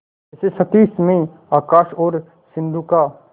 जैसे क्षितिज में आकाश और सिंधु का